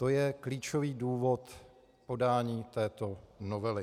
To je klíčový důvod podání této novely.